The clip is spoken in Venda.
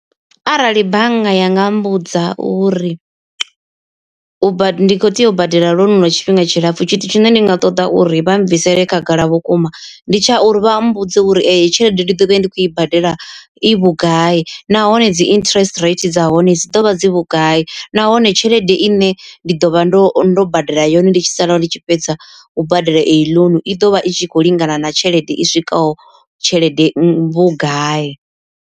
Arali bannga yanga mmbudza uri ndi kho tea u badela ḽounu lwa tshifhinga tshilapfhu tshithu tshine ndi nga ṱoḓa uri vha bvisele khagala vhukuma ndi tsha uri vha mbudze uri eyi tshelede ndi ḓo vha ndi khou i badela i vhugai. Nahone dzi interest rate dza hone dzi ḓovha dzi vhugai nahone tshelede i ne ndi ḓo vha ndo ndo badela yone ndi tshi sala ndi tshi fhedza u badela eyi loan i ḓovha i tshi khou lingana na tshelede i swikaho tshelede vhugai.